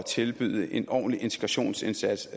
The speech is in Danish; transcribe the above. tilbyde en ordentlig integrationsindsats